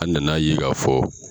An nana ye k'a fɔ.